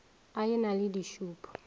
a e na le dišupo